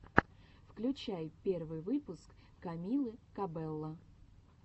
включай первый выпуск камилы кабелло